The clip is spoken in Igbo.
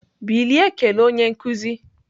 Bilie kelee onye nkuzi!